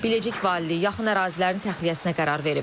Biləcik Valiliyi yaxın ərazilərin təxliyəsinə qərar verib.